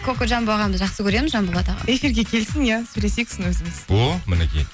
кокожамбо ағамызды жақсы көреміз жанболат эфирге келсін иә сөйлесейік сосын өзіміз о мінекей